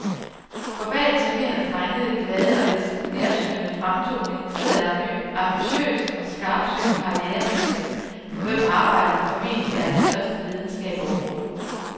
For bag den charmerende, drengede, glade og lidt nærsynede fremtoning sidder et ambitiøst og skarpsynet karrieremenneske, for hvem arbejdet formentlig er den største lidenskab overhovedet.